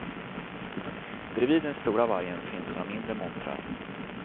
Bredvid den stora vargen finns några mindre montrar.